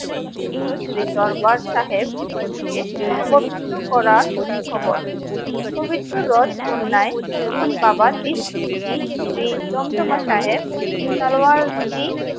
কতৃত্ব শ্রী দরবার সাহেব জী কে অবচিত্র করার খবর পবিত্র রথ কন্যায় যখন বাবা দ্বীপ সিং জী শ্রী দন্তমা সাহেব তলোয়ার জী